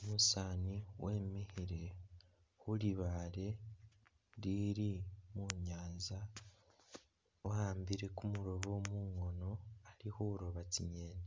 Umusaani wemikhile khulibaale lili munyanza wawambile kumuloobo mungono ali khulooba tsingeni,